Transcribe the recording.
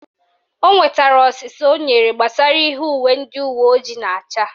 O nwetara ọsịsa o nyere gbasara ihe uwe ndị uweojii na-acha